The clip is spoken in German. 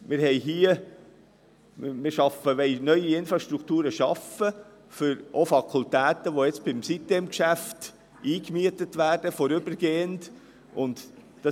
Wir wollen neue Infrastrukturen schaffen, auch für Fakultäten, die bei der sitem-insel AG vorübergehend eingemietet werden.